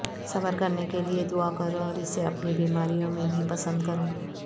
صبر کرنے کے لئے دعا کرو اور اسے اپنی بیماریوں میں بھی پسند کرو